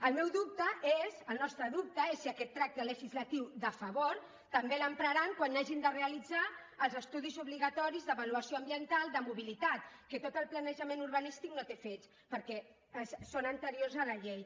el meu dubte és el nostre dubte és si aquest tracte legislatiu de favor també l’empraran quan hagin de realitzar els estudis obligatoris d’avaluació ambiental de mobilitat que tot el planejament urbanístic no té fets perquè són anteriors a la llei